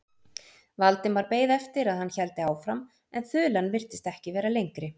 Valdimar beið eftir að hann héldi áfram en þulan virtist ekki vera lengri.